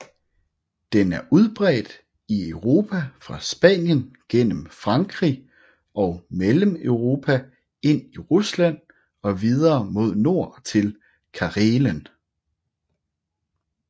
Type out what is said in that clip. Den er udbredt i Europa fra Spanien gennem Frankrig og Mellemeuropa ind i Rusland og videre mod nord til Karelen